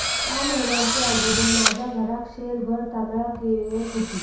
सा महिन्यांचे अगुदर माझ्या घराक शेरभर तांदळाक येयत हुती